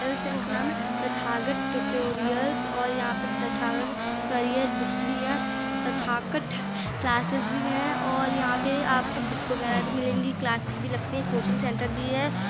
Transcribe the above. Tathagata tutorials और यहाँ पे तथागत करियर बुक्स भी हैं तथाकत क्लासेस भी हैं और यहाँ पर आपको बुक वगेरा भी मिलेंगी क्लासेस भी लगती हैं कोचिंग सेंटर भी हैं।